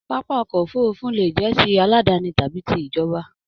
Pápá ọkọ òfurùnfu le jẹ tí aladani tàbí tí ìjọba.